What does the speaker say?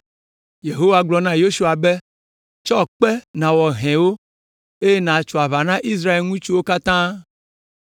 Yehowa gblɔ na Yosua be, “Tsɔ kpe nàwɔ hɛwo, eye nàtso aʋa na Israel ŋutsuwo katã.”